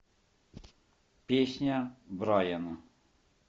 песня брайана